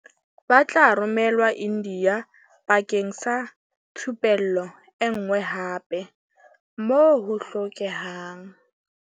Ba tla romelwa India bakeng sa thupello enngwe hape, moo ho hlokehang.